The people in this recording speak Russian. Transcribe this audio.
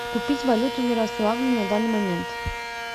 купить валюту в ярославле на данный момент